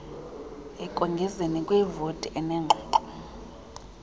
ekongezeni kwivoti enengxoxo